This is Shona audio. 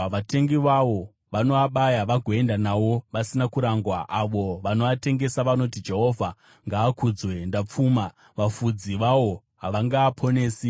Vatengi vawo vanoabaya vagoenda nawo vasina kurangwa. Avo vanoatengesa vanoti, ‘Jehovha ngaakudzwe, ndapfuma!’ Vafudzi vawo havangaaponesi.